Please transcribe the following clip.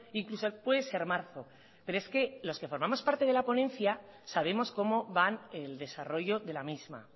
incluso puede ser marzo pero es que los que formamos parte de la ponencia sabemos cómo van el desarrollo de la misma